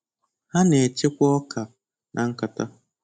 Ha na-echekwa ọka na nkata.